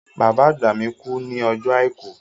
Bàbá àgbà mi kú ní ọjọ́ Àìkú.